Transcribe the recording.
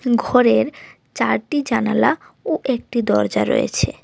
ঘরের চারটি জানালা ও একটি দরজা রয়েছে।